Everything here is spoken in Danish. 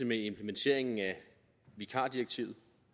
med implementeringen af vikardirektivet